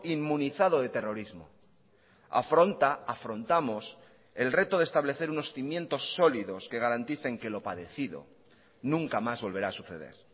inmunizado de terrorismo afronta afrontamos el reto de establecer unos cimientos sólidos que garanticen que lo padecido nunca más volverá a suceder